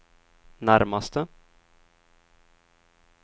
närmaste